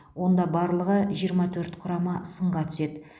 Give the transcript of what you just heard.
онда барлығы жиырма төрт құрама сынға түседі